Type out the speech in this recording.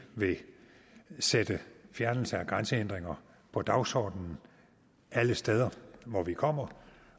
vil sætte fjernelse af grænsehindringer på dagsordenen alle steder hvor vi kommer